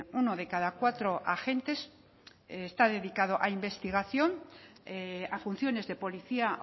uno de cada cuatro agentes está dedicado a investigación a funciones de policía